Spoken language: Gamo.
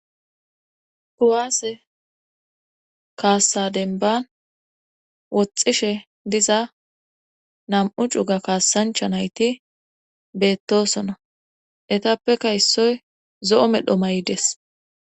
kuwaase kaassa denban woxxishe diza nam7u cuga kaassancha nayti beettosona etappeka issoy zo7o medho maydes